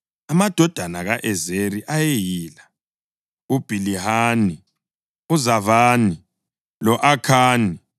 Amadodana ka-Ezeri ayeyila: uBhilihani, uZavani lo-Akhani.